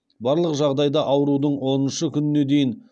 барлық жағдайда аурудың оныншы күніне дейін